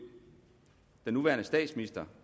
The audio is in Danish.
den nuværende statsminister